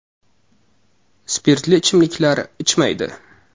Spirtli ichimliklar ichmaydi.